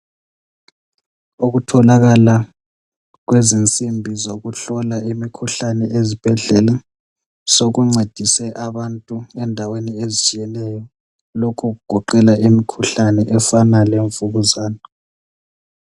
Ukutholakala kwezinsimbi zokuhlola imikhuhlane ezibhedlela, sokuncedise abantu endaweni ezitshiyeneyo. Lokho kugoqela imikhuhlane efana levukuzane.